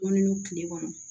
Ko ni kile kɔnɔ